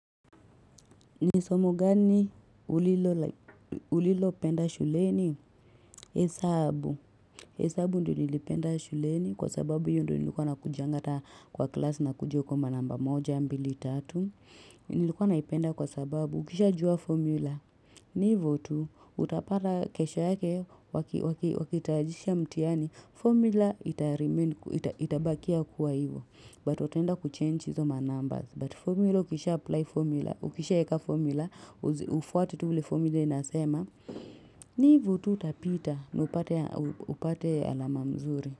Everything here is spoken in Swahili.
Ni somo gani ulilopenda shuleni? Hesabu hesabu ndio nilipenda shuleni kwa sababu hiyo ndiyo nilikuwa nakujanga hata kwa class nakuja kuwa manamba moja mbili, tatu Nilikuwa naipenda kwa sababu ukishajua formula ni hivyo tu, utapata kesho yake wakitayarisha mtihani, formula itabakia kuwa hivyo but wataenda kuchange hizo manumbers but formula ukisha apply formula, ukishaeka formula ufwate tu ule formula inasema ni hivo tu utapita na upate alama mzuri.